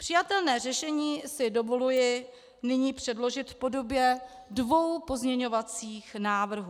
Přijatelné řešení si dovoluji nyní předložit v podobě dvou pozměňovacích návrhů.